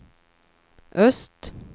öst